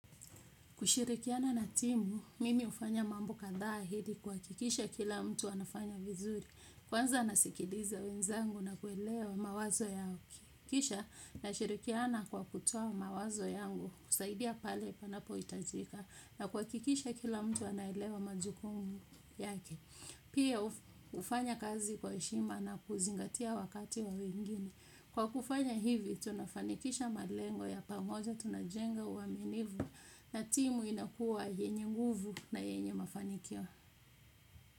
Kushirikiana na timu, mimi hufanya mambo kadhaa ili kuhakikisha kila mtu anafanya vizuri. Kwanza nasikiliza wenzangu na kuelewa mawazo yao ki. Kisha nashirikiana kwa kutoa mawazo yangu, kusaidia pale panapohitajika, na kuhakikisha kila mtu anaelewa majukumu yake. Pia hufanya kazi kwa heshima na kuzingatia wakati wa wengine. Kwa kufanya hivi tunafanikisha malengo ya pamoja tunajenga uaminifu na timu inakuwa yenye nguvu na yenye mafanikio.